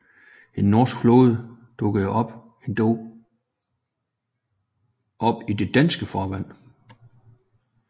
En norsk flåde dukkede endog op i de danske farvande